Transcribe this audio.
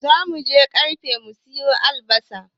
Zamuje ƙarfi mu siyo albasa